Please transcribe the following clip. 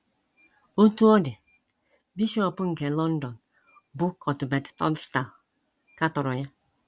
Otú ọ dị, bishọp nke London, bụ́ Cuthbert Tunstall, katọrọ ya.